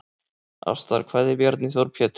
Ástarkveðja Bjarni Þór Pétursson